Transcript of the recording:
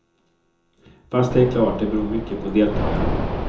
Fast det är klart det beror mycket på deltagarna.